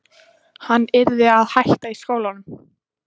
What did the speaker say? Hann yrði að hætta í skólanum!